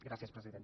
gràcies president